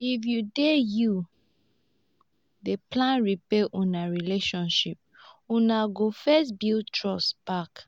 if you dey you dey plan repair una relationship una go first build trust back.